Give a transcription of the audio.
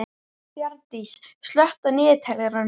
Bjarndís, slökktu á niðurteljaranum.